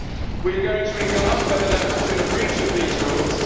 We are going to regard whether there has been a breach of these rules.